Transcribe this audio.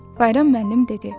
Bayram müəllim dedi: